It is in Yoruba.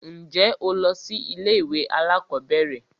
Ǹjẹ́ o lọ sí ilé ìwé alákọ̀berẹ̀?